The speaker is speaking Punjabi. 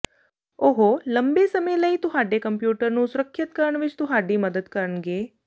ਉਹ ਲੰਬੇ ਸਮੇਂ ਲਈ ਤੁਹਾਡੇ ਕੰਪਿਊਟਰ ਨੂੰ ਸੁਰੱਖਿਅਤ ਕਰਨ ਵਿੱਚ ਤੁਹਾਡੀ ਮਦਦ ਕਰਨਗੇ